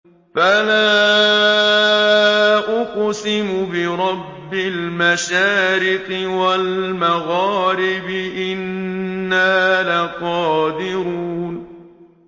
فَلَا أُقْسِمُ بِرَبِّ الْمَشَارِقِ وَالْمَغَارِبِ إِنَّا لَقَادِرُونَ